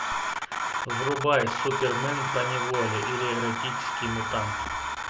врубай супермен поневоле или эротический мутант